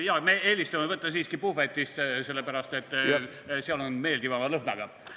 Jaa, me eelistame võtta siiski puhvetist, sellepärast et seal on meeldivama lõhnaga.